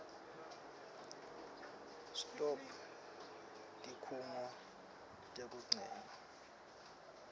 stop tikhungo tekucedza